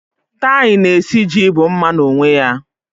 Tie na esiji bụ mma n'onwe ya.